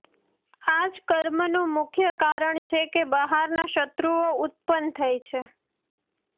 આ જ કર્મનું મુખ્ય કારણ છે કે બહારના શત્રુઓ ઉત્પન્ન થાય છે